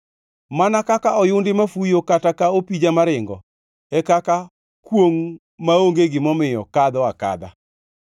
Mana kaka oyundi mafuyo kata ka opija maringo e kaka kwongʼ maonge gimomiyo kadho akadha.